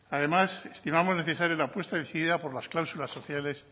además estimamos necesaria la apuesta decidida por las cláusulas sociales